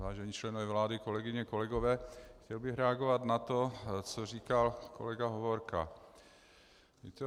Vážení členové vlády, kolegyně, kolegové, chtěl bych reagovat na to, co říkal kolega Hovorka.